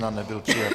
Nebyl přijat.